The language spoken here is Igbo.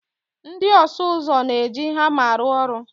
Ndị ọsụ ụzọ na-eji hama arụ ọrụ